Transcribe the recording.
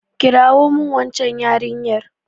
kirawo min waccan yarinyar!